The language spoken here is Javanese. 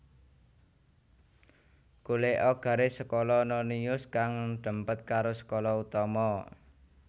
Golèka garis skala nonius kang dèmpèt karo skala utama